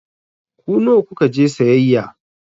Ku nawa ku ka je sayayya?